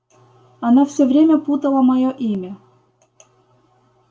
она всё время путала моё имя